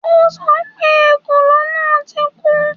O sọ pé ekòló náà ti kú